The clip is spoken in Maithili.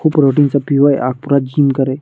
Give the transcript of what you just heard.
खूब प्रोटीन सब पीवे आ पूरा जिम करे।